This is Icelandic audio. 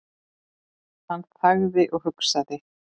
Hann þagði og hugsaði.